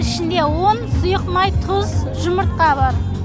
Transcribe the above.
ішінде ұн сұйық май тұз жұмыртқа бар